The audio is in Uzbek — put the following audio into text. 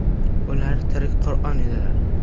Ular tirik Qur’on edilar.